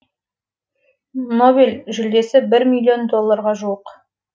нобель жүлдесі бір миллион долларға жуық